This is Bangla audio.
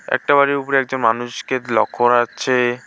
একটা বাড়ির উপরে একজন মানুষকে লক্ষ্য করা যাচ্ছে।